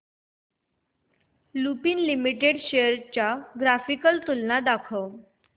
Lupin limited shares ची graphical तुलना दाखव